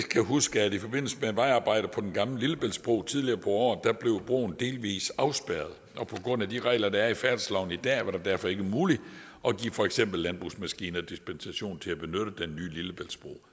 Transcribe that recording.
kan huske at i forbindelse med vejarbejde på den gamle lillebæltsbro tidligere på året blev broen delvis afspærret og på grund af de regler der er i færdselsloven i dag var det derfor ikke muligt at give for eksempel landbrugsmaskiner dispensation til at benytte den nye lillebæltsbro